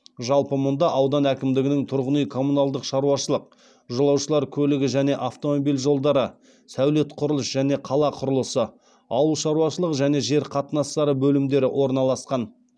жалпы мұнда аудан әкімдігінің тұрғын үй коммуналдық шаруашылық жолаушылар көлігі және автомобиль жолдары сәулет құрылыс және қала құрылысы ауыл шаруашылығы және жер қатынастары бөлімдері орналасқан